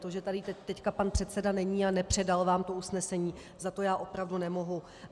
To, že tady teď pan předseda není a nepředal vám to usnesení, za to já opravdu nemohu.